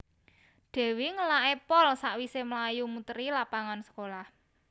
Dewi ngelake pol sakwise mlayu muteri lapangan sekolah